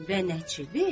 Və nəçidi?